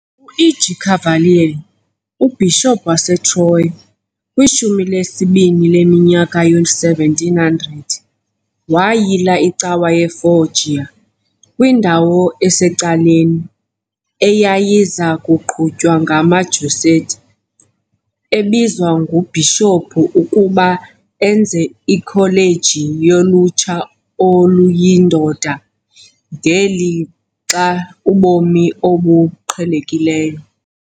U-EG Cavalieri, uBhishophu waseTroia kwishumi lesibini leminyaka yoo-1700 wayila icawa yeFoggia, kwindawo esecaleni, eyayiza kuqhutywa ngamaJesuit, ebizwa nguBhishophu ukuba enze ikholeji yolutsha oluyindoda, ngelixa ubomi obuqhelekileyo.